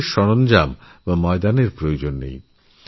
বিশেষ কোনো যন্ত্রপাতি বা ময়দানের প্রয়োজন নেই